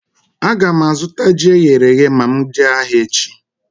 Aga m azụta ji eghere eghe ma m jee ahịa echi